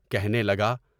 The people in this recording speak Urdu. کہنے لگا۔